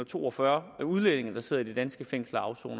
to og fyrre udlændinge der sidder i de danske fængsler og